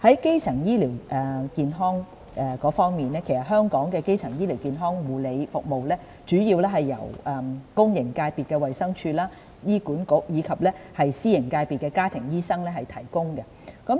基層醫療健康方面，香港的基層醫療健康護理服務主要由公營界別的衞生署、醫院管理局，以及私營界別的家庭醫生提供。